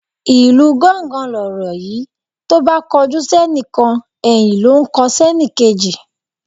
Ìlu gángan lọ̀rọ̀ yi tóbá kojú sénìkan ẹ̀yìn ló n kọ sẹ́nìkejì